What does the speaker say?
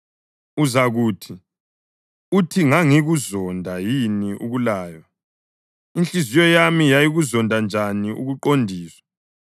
Uzakuthi, “Uthi ngangikuzonda yini ukulaywa! Inhliziyo yami yayikuzonda njani ukuqondiswa!